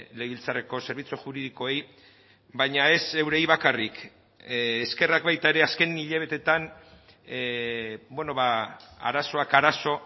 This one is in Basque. legebiltzarreko zerbitzu juridikoei baina ez eurei bakarrik eskerrak baita ere azken hilabeteetan arazoak arazo